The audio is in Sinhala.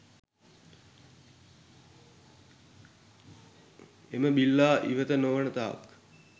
එම බිල්ලා ඉවත් නොවෙන තාක්